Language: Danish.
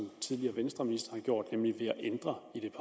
tidligere vestreministre har gjort nemlig at ændre i det